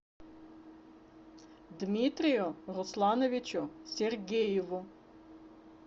дмитрию руслановичу сергееву